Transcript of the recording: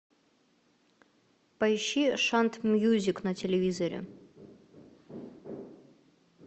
поищи шант мьюзик на телевизоре